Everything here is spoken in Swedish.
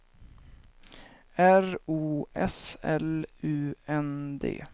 R O S L U N D